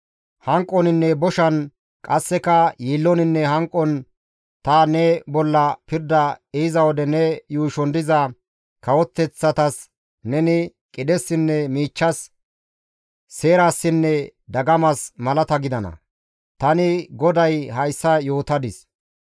Hanqoninne boshan qasseka yiilloninne hanqon ta ne bolla pirda ehiza wode ne yuushon diza kawoteththatas neni qidhessinne miichchas, seerassinne dagamas malata gidana. Tani GODAY hayssa yootadis.